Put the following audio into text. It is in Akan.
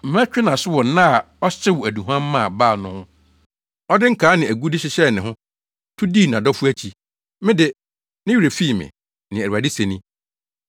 Mɛtwe nʼaso wɔ nna a ɔhyew aduhuam maa Baal no ho; ɔde nkaa ne agude hyehyɛɛ ne ho, tu dii nʼadɔfo akyi, me de, ne werɛ fii me,” nea Awurade se ni.